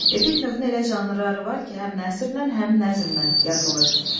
Epik növün elə janrları var ki, həm nəsrlə, həm nəzmlə yazılır.